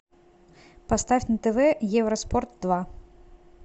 поставь на тв евроспорт два